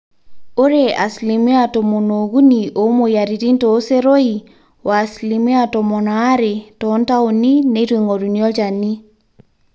ore asilimia tomon ookuni oomweyiaritin tooseroi oasilimia tomon aare toontaoni neitu eing'oruni olchani